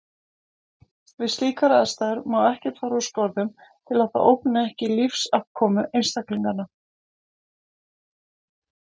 Við slíkar aðstæður má ekkert fara úr skorðum til að það ógni ekki lífsafkomu einstaklinganna.